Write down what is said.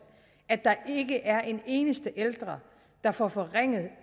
at der ikke er en eneste ældre der får forringet